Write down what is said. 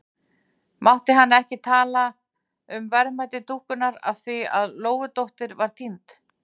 Mátti hann ekki tala um verðmæti dúkkunnar af því að Lóudóttir var týnd?